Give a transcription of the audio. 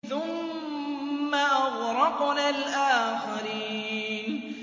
ثُمَّ أَغْرَقْنَا الْآخَرِينَ